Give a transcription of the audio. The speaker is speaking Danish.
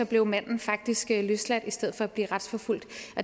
blev manden faktisk løsladt i stedet for at blive retsforfulgt